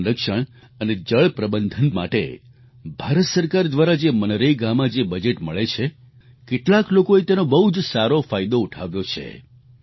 જળ સંરક્ષણ અને જળ પ્રબંધન માટે ભારત સરકાર દ્વારા જે મનરેગામાં જે બજેટ મળે છે કેટલાક લોકોએ તેનો બહુ જ સારો ફાયદો ઉઠાવ્યો છે